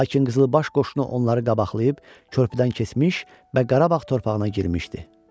Lakin qızılbaş qoşunu onları qabaqlayıb, körpüdən keçmiş və Qarabağ torpağına girmişdi.